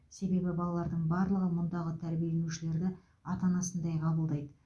себебі балалардың барлығы мұндағы тәрбиешілерді ата анасындай қабылдайды